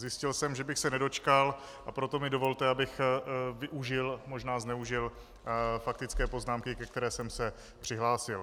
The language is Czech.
Zjistil jsem, že bych se nedočkal, a proto mi dovolte, abych využil, možná zneužil faktické poznámky, ke které jsem se přihlásil.